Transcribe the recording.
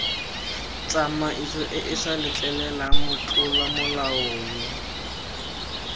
tsamaisoeesa letleleleng motlola molao yo